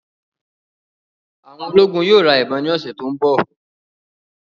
Àwọn ológun yóò ra ìbọn ni ọsẹ tó ń bọ̀